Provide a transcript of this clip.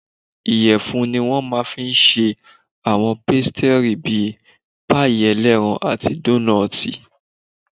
Ìyẹ̀fun ni wọ́n máa fi n ṣe àwọn pésítírì bíi páìì ẹlẹ́ran àti dóónọ́tì